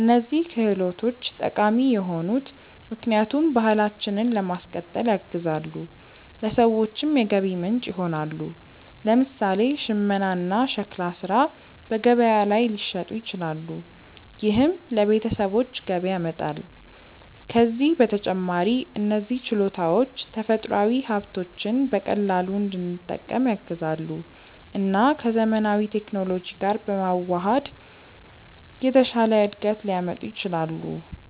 እነዚህ ክህሎቶች ጠቃሚ የሆኑት ምክንያቱም ባህላችንን ለማስቀጠል ያግዛሉ፣ ለሰዎችም የገቢ ምንጭ ይሆናሉ። ለምሳሌ ሽመና እና ሸክላ ሥራ በገበያ ላይ ሊሸጡ ይችላሉ፣ ይህም ለቤተሰቦች ገቢ ያመጣል። ከዚህ በተጨማሪ እነዚህ ችሎታዎች ተፈጥሯዊ ሀብቶችን በቀላሉ እንድንጠቀም ያግዛሉ እና ከዘመናዊ ቴክኖሎጂ ጋር በመዋሃድ የተሻለ እድገት ሊያመጡ ይችላሉ።